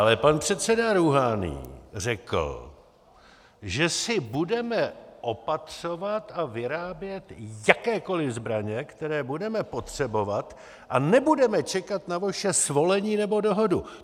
Ale pan předseda Rúhání řekl, že si budeme opatřovat a vyrábět jakékoli zbraně, které budeme potřebovat, a nebudeme čekat na vaše svolení nebo dohodu.